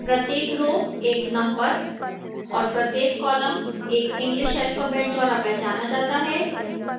प्रत्येक row एक number और प्रत्येक column एक english alphabet द्वारा पहचाना जाता है